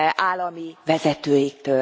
állami vezetőiktől.